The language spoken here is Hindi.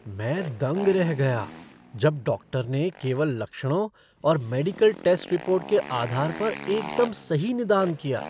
मैं दंग रह गया जब डॉक्टर ने केवल लक्षणों और मेडिकल टेस्ट रिपोर्ट के आधार पर एकदम सही निदान किया!